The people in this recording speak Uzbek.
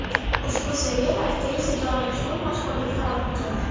Ushbu serial aktrisaga olamshumul mashhurlikni olib keldi.